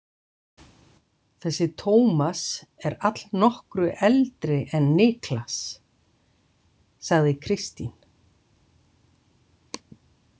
Þessi Tómas er allnokkru eldri en Niklas, sagði Kristín.